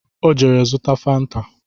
Ọ jere zụta fanta